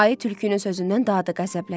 Ayı tülkünün sözündən daha da qəzəbləndi.